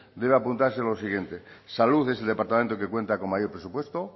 debe apuntarse lo siguiente salud es el departamento que cuenta con mayor presupuesto